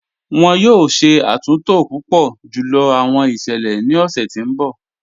Wọn yọ̀ọ̀ ṣẹ̀ àtúntò púpọ̀ júlọ̀ awọn iṣẹlẹ̀ ni ọṣẹ̀ ti n bọ̀.